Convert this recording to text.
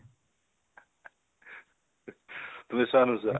তুমি চোৱা নে নোচোৱা?